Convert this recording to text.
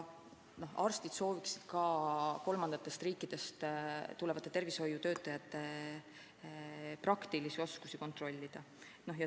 Arstid sooviksid kolmandatest riikidest tulevate tervishoiutöötajate praktilisi oskusi kontrollida.